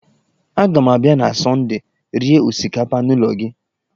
Aga m abịa na Sọndee rie osikapa n'ụlọ gị.